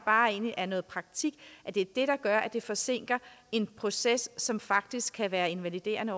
egentlig er noget praktik der gør at det forsinker en proces som faktisk kan være invaliderende